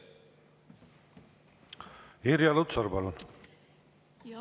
Irja Lutsar, palun!